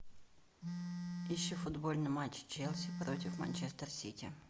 ищи футбольный матч челси против манчестер сити